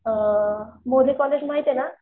अअ कॉलेज माहितीये ना